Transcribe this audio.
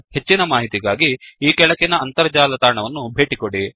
ಹೆಚ್ಚಿನ ಮಾಹಿತಿಗಾಗಿ ಈ ಕೆಳಗಿನ ಅಂತರ್ಜಾಲ ತಾಣವನ್ನು ಭೇಟಿಕೊಡಿ